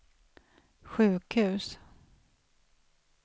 sjukhus